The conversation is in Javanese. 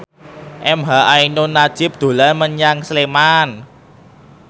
emha ainun nadjib dolan menyang Sleman